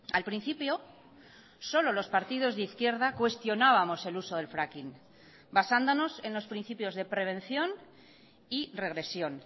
al principio solo los partidos de izquierda cuestionábamos el uso del fracking basándonos en los principios de prevención y regresión